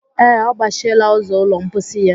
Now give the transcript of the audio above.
Ee, ọ gbachiela ụzọ ụlọ mposi ya